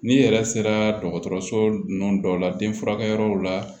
N'i yɛrɛ sera dɔgɔtɔrɔso ninnu dɔ la den furakɛyɔrɔw la